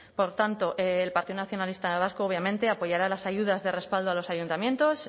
por tanto el partido nacionalista vasco obviamente apoyará las ayudas de respaldo a los ayuntamientos